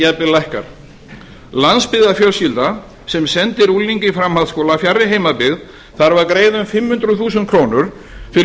en jafnvel lækkar landsbyggðarfjölskylda sem sendir ungling í framhaldsskóla fjarri heimabyggð þarf að greiða um fimm hundruð þúsund krónur fyrir